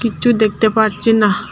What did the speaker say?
কিচ্ছু দেখতে পারছি না।